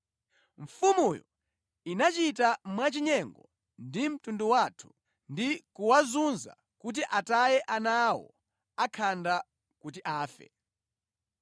Mfumuyo inachita mwachinyengo ndi mtundu wathu ndi kuwazunza kuti ataye ana awo akhanda kuti afe.